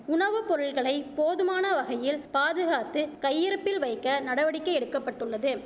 உணவுப்பொருள்களை போதுமானவகையில் பாதுகாத்து கையிருப்பில் வைக்க நடவடிக்கை எடுக்க பட்டுள்ளது